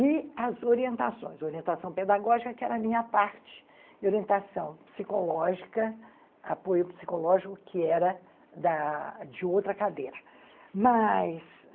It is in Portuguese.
e as orientações, orientação pedagógica, que era a minha parte, e orientação psicológica, apoio psicológico, que era da de outra cadeira, mas,